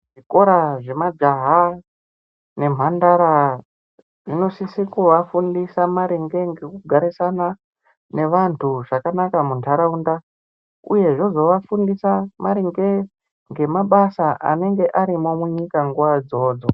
Zvikora zve majaha ne mhandara zvino sise kuva fundisa maringe neku garisana ne vantu zvakanaka mundaraunda uye zvozo vafundisa maringe ne mabasa anenge ari panyika nguva idzodzo.